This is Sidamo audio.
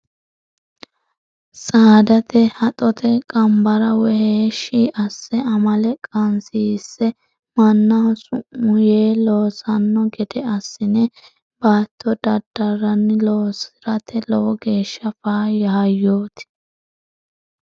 Saadate haxote qanbara woyi heeshshi asse amale qanasiise mannaho summu yee loossano gede assine baatto dadaranni loosirate lowo geeshsha faayya hayyoti.